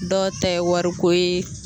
Dɔw ta ye wariko ye